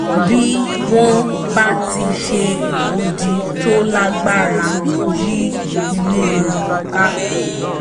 bí wọ́n bá ti ṣe odi tó lágbára yí ilé wọn ká